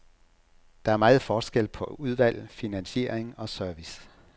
Der er meget forskel på udvalg, finansiering og service.